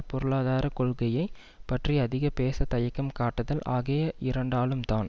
பொருளாதார கொள்கையை பற்றி அதிக பேச தயக்கம் காட்டுதல் ஆகிய இரண்டாலும் தான்